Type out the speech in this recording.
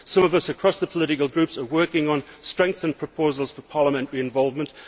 Some of us across the political groups are working on strengthened proposals for parliamentary involvement.